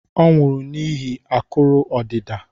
Ọ nwụrụ n'ihi akụrụ odida